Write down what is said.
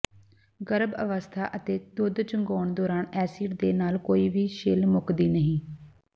ਗਰੱਭ ਅਵਸੱਥਾ ਅਤੇ ਦੁੱਧ ਚੁੰਘਾਉਣ ਦੌਰਾਨ ਐਸਿਡ ਦੇ ਨਾਲ ਕੋਈ ਵੀ ਛਿੱਲ ਮੁੱਕਦੀ ਨਹੀਂ